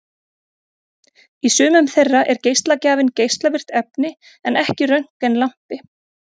Í sumum þeirra er geislagjafinn geislavirkt efni en ekki röntgenlampi.